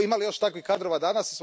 Ima li još takvih kadrova danas?